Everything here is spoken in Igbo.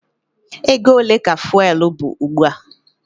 Ego ole ka fụ́élú bụ ugbu a?